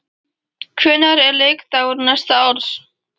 Hvenær eru leikdagar næsta árs?